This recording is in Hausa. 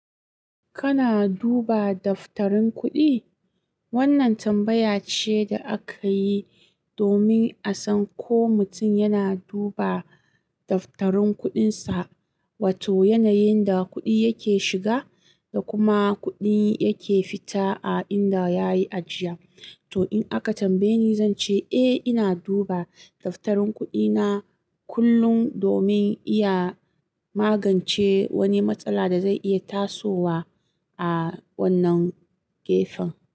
Kana duba daftarin kuɗi? Wannan tambaya ce da aka yi, domin a san ko mutum yana duba daftarin kuɗinsa, wato yanayin da kuɗi yake shiga, da kuma kuɗin yake fita a inda yayi ajiya. Toh in aka tambaye ni, zanci eh ina duba daftarin kuɗina kullum domin iya magance wani matsala da zai iya tasowa a wannan gefen.